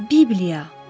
Bibliya.